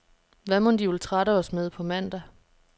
Hvad mon de vil trætte os med på mandag.